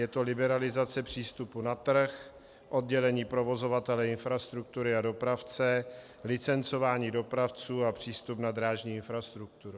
Je to liberalizace přístupu na trh, oddělení provozovatele infrastruktury a dopravce, licencování dopravců a přístup na drážní infrastrukturu.